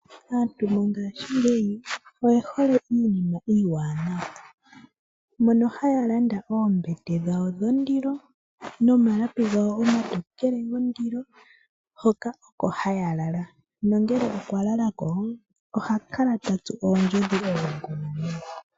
Aantu mongashingeyi oyehole iinima iiwanawa, mono haya landa oombete dhawo dhondilo nomalapi gawo omatokele gondilo hoka oko hayalala, nangele okwa lalako ohakala tatsu oondjodhi.